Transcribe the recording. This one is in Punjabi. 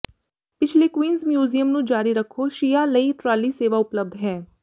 ਪਿਛਲੇ ਕੁਈਨਜ਼ ਮਿਊਜ਼ੀਅਮ ਨੂੰ ਜਾਰੀ ਰੱਖੋ ਸ਼ੀਆ ਲਈ ਟਰਾਲੀ ਸੇਵਾ ਉਪਲਬਧ ਹੈ